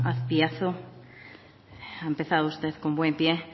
azpiazu ha empezado usted con buen pie